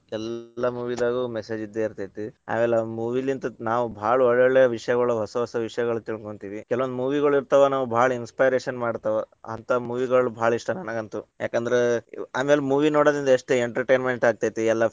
ಎಲ್ಲಾ movie ದಾಗು message ಇದ್ದೇ ಇರ್ತೇತಿ. ಆಮೇಲೆ movie ಲಿಂತ ನಾವ್ ಭಾಳ ಒಳ್ಳೊಳ್ಳೇ ವಿಷಯಗಳು ಹೊಸ ಹೊಸ ವಿಷಯಗಳು ತಿಳ್ಕೊಂತೀವಿ. ಕೆಲವೊಂದ್ movie ಗಳು ಇರ್ತಾವ್‌ ನಾವ್‌ ಭಾಳ inspiration ಮಾಡ್ತಾವ. ಅಂತಾ movie ಗಳು ಭಾಳ ಇಷ್ಟ ನನಗಂತು. ಯಾಕಂದ್ರ ಆಮೇಲೆ movie ನೋಡೋದ್ರಿಂದ ಎಷ್ಟ್ entertainment ಆಗ್ತೇತಿ, ಎಲ್ಲಾ.